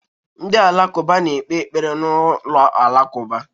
Ndị Alakụba na-ekpe ekpere na ụlọ alakụba.